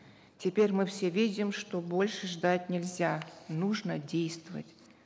теперь мы все видим что больше ждать нельзя нужно действовать